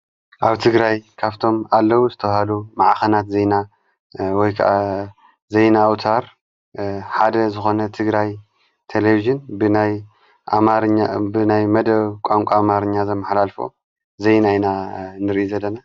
ኣብ ትግራይ ካፍቶም ኣለዉ ዝተውሃሉ መዓኸናት ዜና ወይ ከዓ ዘይና ኣውታር ሓደ ዝኾነ ትግራይ ተሌብስን ብናይ ኣማርኛ ብናይ መደ ቋንቋ ኣማርኛ ዘመኃላልፎ ዜና ንርኢ ዘለና።